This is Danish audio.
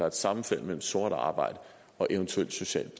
et sammenfald mellem sort arbejde og eventuelt socialt